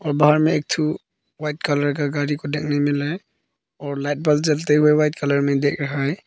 और बाहर में एक ठो वाइट कलर का गाड़ी को देखने मिल रहा है और लाइट बल्ब जलते व्हाइट कलर में देख रहा है।